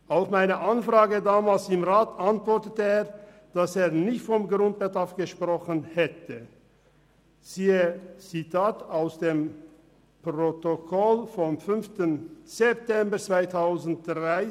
Auf meine Anfrage damals im Rat antwortete er, dass er nicht vom Grundbedarf gesprochen hätte, wie das Zitat aus dem Protokoll vom 5. September 2013 belegt.